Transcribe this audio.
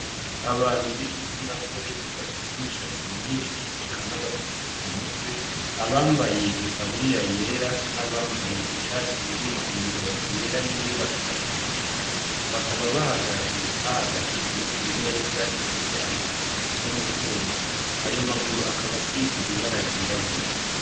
Abantu b'igitsinagore bafise imishatsi myinshi eka n'abasutse ku mutwe, abambaye itaburiya yera n'abambaye ishati irimwo imirongo yera n'iyirabura imanuka, bakaba bahagaze; bahagatiye imeza ifise amaguru akoze mu cuma, ayo maguru akaba asize ibara ryirabura.